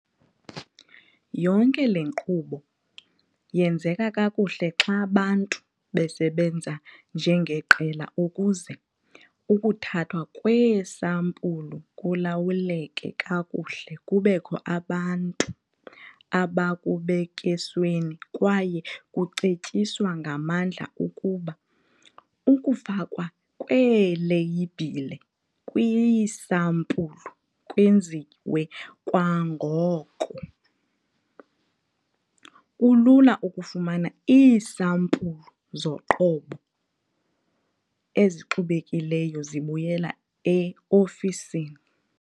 Yonke le nkqubo yenzeka kakuhle xa bantu besebenza njengeqela ukuze ukuthathwa kweesampulu kulawuleke kakuhle kubekho abantu abakubek'esweni kwaye kucetyiswa ngamandla ukuba ukufakwa kweeleyibhile kwiisampulu kwenziwe kwangoko. Kulula ukufumana iisampulu zoqobo ezixubekileyo zibuyela e-ofisini.